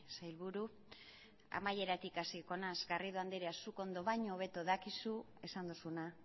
sailburu amaieratik hasiko naiz garrido andrea zuk ondo baino hobeto dakizu esan duzuna